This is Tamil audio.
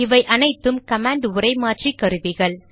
இவை அனைத்தும் கமாண்ட் உரை மாற்றி கருவிகள்